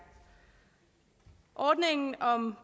ordningen om